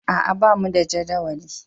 A'a, bamu da jadawali.